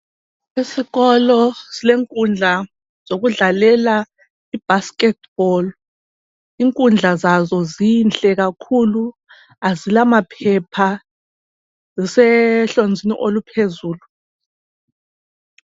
Esikolo silenkundla zokudlalela ibasket ball, inkundla zazo zinhle kakhulu, azila maphepha kusehlonzini oluphezulu.